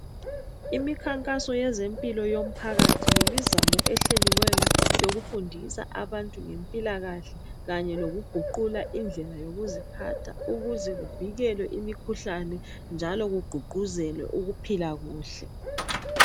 Imikhankaso yezempilo yomphakathi yimizamo ehleliweyo yokufundisa abantu ngempilakahle kanye lokuguqula indlela yokuziphatha ukuze kuvikelwe imikhuhlane njalo kugqugquzelwe ukuphila kuhle.